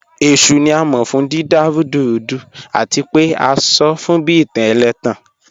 Eshu ni a mọ fun dida rudurudu ati pe a sọ fun bi itan ẹlẹtan